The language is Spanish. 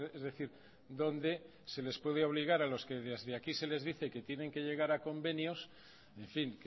es decir donde se les puede obligar a los que desde aquí se les dice que tienen que llegar a convenios en fin